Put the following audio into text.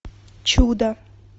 чудо